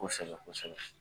Kosɛbɛ kosɛbɛ.